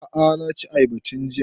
A'a na ci ayaba tun jiya